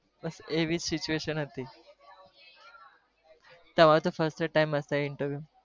બસ એવીજ situation હતી, તમારે તો first time હશે interview